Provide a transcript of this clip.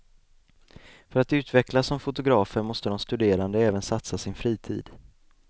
För att utvecklas som fotografer måste de studerande även satsa sin fritid.